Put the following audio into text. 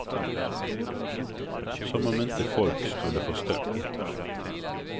Som om inte folk skulle förstå.